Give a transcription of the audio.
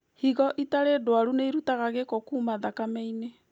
Higo itarĩ ndwaru nĩirutaga gĩko kuma thakame-inĩ